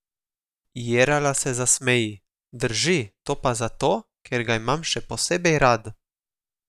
Jerala se zasmeji: "Drži, to pa zato, ker ga imam še posebej rad.